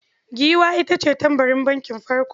Giwa ita ce tbarin bankin farko.